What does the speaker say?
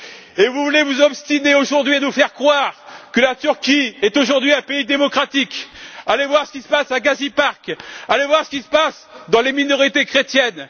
Et vous vous obstinez aujourd'hui à nous faire croire que la Turquie est aujourd'hui un pays démocratique! Allez voir ce qui se passe au parc Gezi, allez voir ce qui se passe dans les minorités chrétiennes!